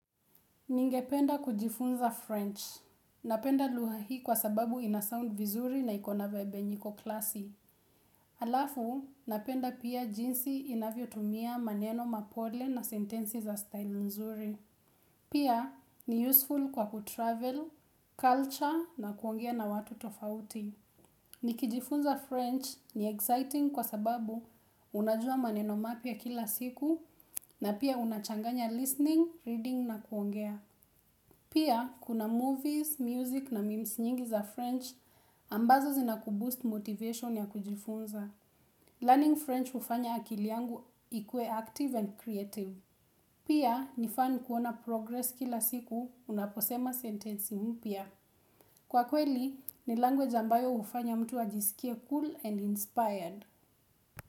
Ningependa kujifunza French. Napenda lugha hii kwa sababu ina sound vizuri na ikona vibe yenye iko klasi. Alafu, napenda pia jinsi inavyotumia maneno mapole na sentensi za style nzuri. Pia, ni useful kwa kutravel, culture na kuongea na watu tofauti. Nikijifunza French ni exciting kwa sababu unajua maneno mapya kila siku na pia unachanganya listening, reading na kuongea. Pia, kuna movies, music na memes nyingi za French ambazo zina kuboost motivation ya kujifunza Learning French hufanya akili yangu ikue active and creative Pia, nifan kuona progress kila siku unaposema sentensi mpya Kwa kweli, ni language ambayo hufanya mtu ajisikie cool and inspired.